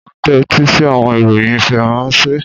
O n tẹtisi awọn iroyin Faranse.